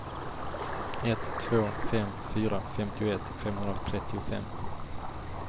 ett två fem fyra femtioett femhundratrettiofem